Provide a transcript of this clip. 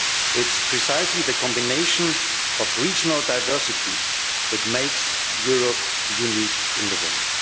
it is precisely the combination of regional diversity that makes Europe unique in the world.